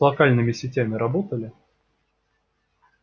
с локальными сетями работали